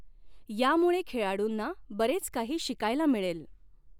यामुळे खेळाडूंना बरेच काही शिकायला मिळेल.